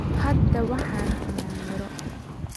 Hadda waxaan cunnaa miro.